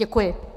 Děkuji.